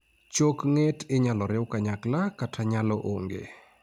chok ng'et inyalo riw anyakla kata nyalo onge